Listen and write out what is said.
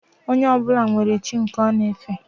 Onye ọbụla nwere chi nke ọ na efe